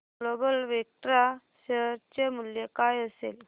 global Vectra share चे मूल्य काय असेल